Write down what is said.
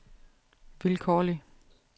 vilkårlig